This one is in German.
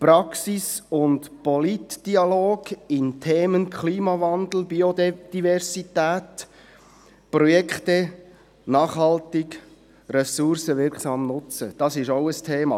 Die Praxis und der Politdialog in den Themen Klimawandel, Biodiversität und Projekte nachhaltig ressourcenwirksam zu nutzen, ist auch ein Thema.